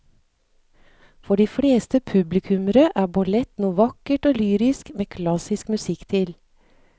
For de fleste publikummere er ballett noe vakkert og lyrisk med klassisk musikk til.